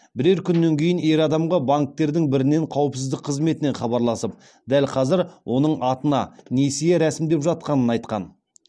бірер күннен кейін ер адамға банктердің бірінен қауіпсіздік қызметінен хабарласып дәл қазір оның атына несие рәсімдеп жатқанын айтқан